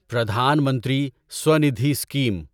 پردھان منتری سوندھی اسکیم